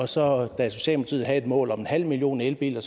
så havde et mål om en halv million elbiler